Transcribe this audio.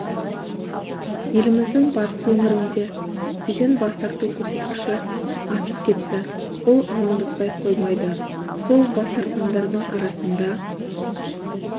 еліміздің батыс өңірінде екпеден бас тарту көрсеткіші асып кетті бұл алаңдатпай қоймайды сол бас тартқандардың арасында